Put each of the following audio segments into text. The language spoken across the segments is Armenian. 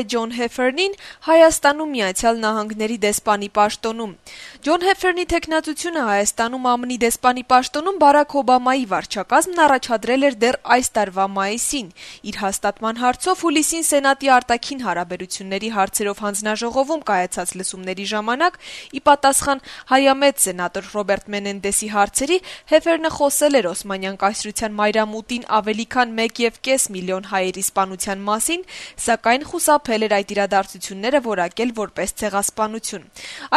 է Ջոն Հեֆերնին Հայաստանում Միացյալ Նահանգների դեսպանի պաշտոնում։ ՆԱՏՕ-ում Միացյալ Նահանգների առաքելության ղեկավարի տեղակալ Ջոն Հեֆերնի թեկնածությունը Հայաստանում ԱՄՆ-ի դեսպանի պաշտոնում Բարաք Օբամայի վարչակազմը առաջադրել էր այս տարվա մայիսին: Իր հաստատման հարցով հուլիսին Սենատի արտաքին հարաբերությունների հարցերով հանձնաժողովում կայացած լսումների ժամանակ, ի պատասխան հայամետ սենատոր Ռոբերտ Մենենդեսի հարցերի, Հեֆերնը խոսել էր Օսմանյան կայսրության մայրամուտին ավելի քան մեկեւկես միլիոն հայերի սպանության մասին, սակայն խուսափել էր այդ իրադարձությունները որակել որպես ցեղասպանություն: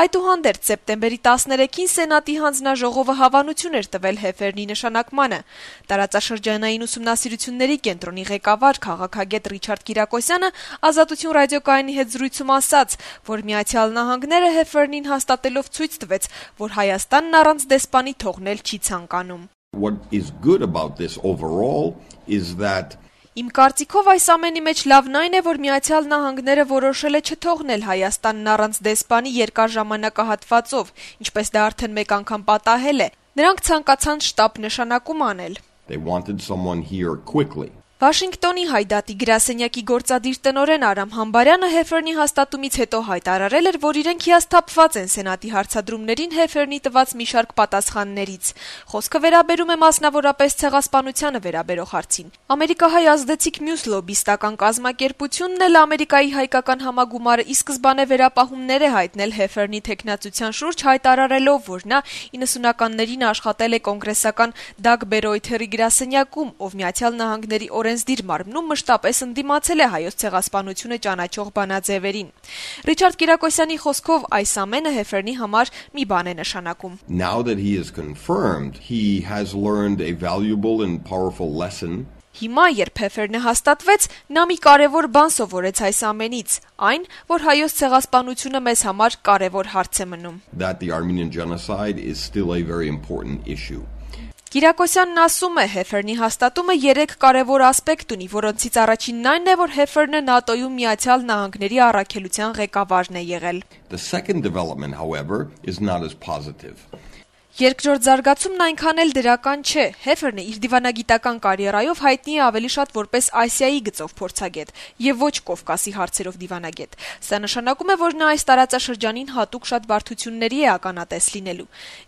Այդուհանդերձ, սեպտեմբերի 13-ին Սենատի հանձնաժողովը հավանություն էր տվել Հեֆերնի նշանակմանը։ Տարածաշրջանային ուսումնասիրությունների կենտրոնի ղեկավար, քաղաքագետ Ռիչարդ Կիրակոսյանը «Ազատություն» ռադիոկայանի հետ զրույցում ասաց, որ Միացյալ Նահագները Հեֆերնին հաստատելով ցույց տվեց, որ Հայաստանն առանց դեսպանի թողնել չի ցանկանում. - «Իմ կարծիքով, այս ամենի մեջ լավն այն է, որ Միացյալ Նահանգները որոշել է չթողնել Հայաստանը առանց դեսպանի երկար ժամանակահատվածով, ինչպես դա արդեն մեկ անգամ պատահել է: Նրանք ցանկացան շտապ նշանակում անել»: Վաշինգտոնի Հայ դատի գրասենյակի գործադիր տնօրեն Արամ Համբարյանը Հեֆերնի հաստատումից հետո հայտարարել էր, որ իրենք հիասթափված են Սենատի հարցադրումներին Հեֆերնի տված մի շարք պատասխաններից: Խոսքը վերաբերում է, մասնավորապես, Ցեղասպանությանը վերաբերող հարցին: Ամերիկահայ ազդեցիկ մյուս լոբբիստական կազմակերպությունը՝ Ամերիկայի հայկական համագումարը ի սկզբանե վերապահումներ էր հայտնել Հեֆերնի թեկնածության շուրջ` հայտարարելով, որ նա 90-ականներին աշխատել է կոնգրեսական Դագ Բերոյթերի գրասենյակում, ով Միացյալ Նահանգների օրենսդիր մարմնում մշտապես ընդդիմացել է Հայոց ցեղասպանությունը ճանաչող բանաձեւերին: Ռիչարդ Կիրակոսյանի խոսքով, այս ամենը Հեֆերնի համար մի բան է նշանակում. - «Հիմա, երբ Հեֆերնը հաստատվեց, նա մի կարեւոր բան սովորեց այս ամենից` այն, որ Հայոց ցեղասպանությունը մեզ համար կարեւոր հարց է մնում»: Կիրակոսյանի խոսքով, Հեֆերնի հաստատումը 3 կարեւոր ասպեկտ ունի, որոնցից առաջինն այն է, որ Հեֆերնը ՆԱՏՕ-ում Միացյալ Նահանգների առաքելության ղեկավարն է եղել: «Երկրորդ զարգացումն այնքան էլ դրական չէ», - շարունակեց վերլուծաբանը: - «Հեֆերնը իր դիվանագիտական կարիերայում հայտնի է ավելի շատ որպես Ասիայի գծով փորձագետ, եւ ոչ Կովկասի հարցերով դիվանագետ: Սա նշանակում է, որ նա այս տարածաշրջանին հատուկ շատ բարդությունների է ականատես լինելու: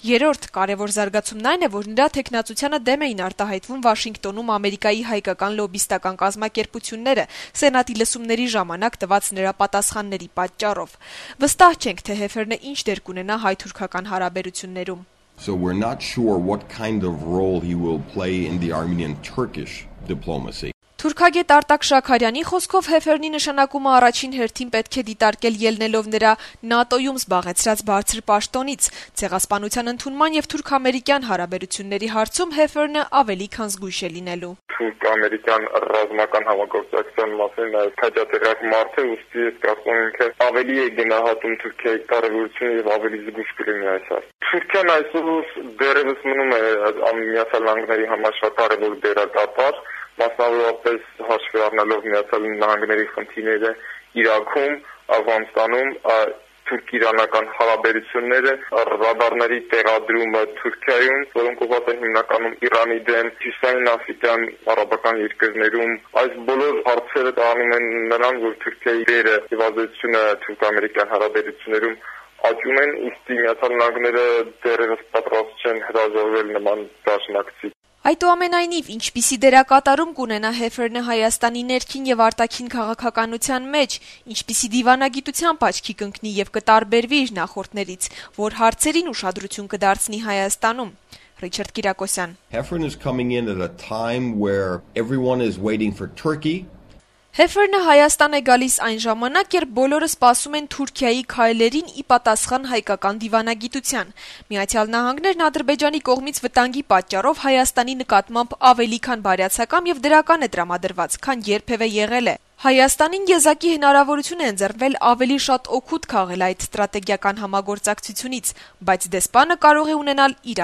Երրորդ կարեւոր զարգացումն այն է, որ նրա թեկնածությանը դեմ էին արտահայտվում Վաշինգտոնում Ամերիկայի հայկական լոբբիստական կազմակերպությունները` Սենատի լսումների ժամանակ տված նրա պատասխանների պատճառով: Վստահ չենք, թե Հեֆերնը ինչ դեր կունենա հայ-թուրքական հարաբերություններում»: Թուրքագետ Արտակ Շաքարյանի խոսքով` Հեֆերնի նշանակումը առաջին հերթին պետք է դիտարկել` ելնելով ՆԱՏՕ-ում զբաղեցրած նրա բարձր պաշտոնից: Ցեղասպանության ընդունման եւ թուրք-ամերիկյան հարաբերությունների հարցում Հեֆերնը ավելի քան զգույշ է լինելու: «Թուրք-ամերիկյան ռազմական համագործակության մասին քաջատեղյակ մարդ է, ուստի, ես կարծում եմ, ինքը ավելի է գնահատում Թուրքիայի կարեւորությունը եւ ավելի զգույշ կլինի այս հարցում: Թուրքիան այսօր դեռեւս մնում է Միացյալ Նահանգների համար շատ կարեւոր դերակատար, մասնավորապես` հաշվի առնելով Միացյալ Նահանգների խնդիրները Իրաքում, Աֆղանստանում, թուրք-իրականական հարաբերությունները, ռադարների տեղադրումը Թուրքիայում, որոնք հիմնականում ուղղված են Իրանի դեմ… Այս բոլոր հարցերը տանում են նրան, որ Թուրքիայի դերը եւ ազդեցությունը թուրք-ամերիկյան հարաբերություններում աճում են: Ուստի Միացյալ Նահանգները դեռեւս պատրաստ չէ հրաժարվել նման դաշնակցից», - ասաց Շաքարյանը: Հարցին, թե ինչպիսի դերակատարում կունենա Հեֆերնը Հայաստանի ներքին եւ արտաքին քաղաքականության մեջ, ինչպիսի դիվանագիտությամբ աչքի կընկնի եւ ինչով կտարբերվի իր նախորդներից, Ռիչարդ Կիրակոսյանը պատասխանեց - «Հեֆերնը գալիս է այն ժամանակահատվածում, երբ բոլորը սպասում են Թուրքիայի քայլերին` ի պատասխանին հայկական դիվանագիտության: Միացյալ Նահանգները Ադրբեջանի կողմից վտանգի պատճառով Հայաստանի նկատմամբ ավելի բարյացակամ եւ դրական է տրամադրված, քան երբեւէ: Հայաստանին եզակի հնարավորություն է ընձեռվել ավելի շատ օգուտ քաղել այդ ռազմավարական համագործակցությունից: Բայց դեսպանը կարող է ունենալ իր